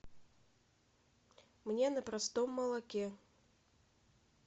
мне на простом молоке